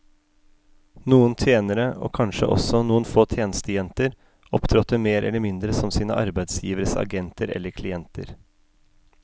Noen tjenere, og kanskje også noen få tjenestejenter, opptrådte mer eller mindre som sine arbeidsgiveres agenter eller klienter.